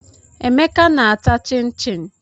Emeka na-ata chịn chịn.